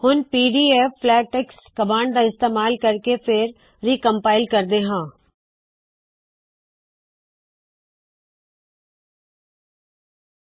ਹੁਣ pdflatex command ਦਾ ਇਸਤੇਮਾਲ ਕਰਕੇ ਫੇਰ ਰੀਕਮਪਾਇਲ ਕਰਦੇ ਹਾ